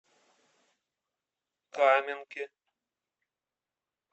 каменке